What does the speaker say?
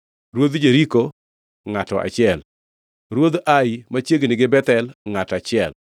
Ruodh Jeriko, ngʼato achiel, Ruodh Ai (machiegni gi Bethel), ngʼato achiel,